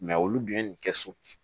olu dun ye nin kɛ so